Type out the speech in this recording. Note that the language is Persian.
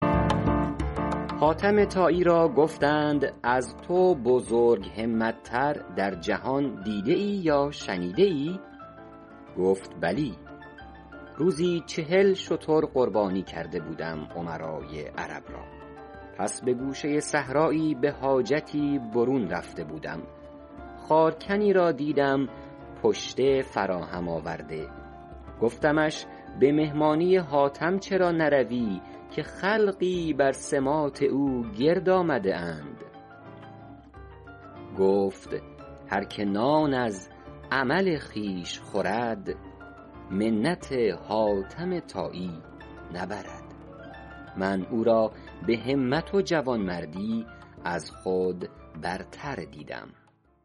حاتم طایی را گفتند از تو بزرگ همت تر در جهان دیده ای یا شنیده ای گفت بلی روزی چهل شتر قربان کرده بودم امرای عرب را پس به گوشه صحرایی به حاجتی برون رفته بودم خارکنی را دیدم پشته فراهم آورده گفتمش به مهمانی حاتم چرا نروی که خلقی بر سماط او گرد آمده اند گفت هر که نان از عمل خویش خورد منت حاتم طایی نبرد من او را به همت و جوانمردی از خود برتر دیدم